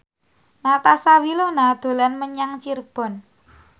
Natasha Wilona dolan menyang Cirebon